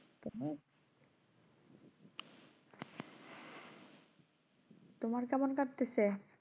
তোমার কেমন কাটতাসে?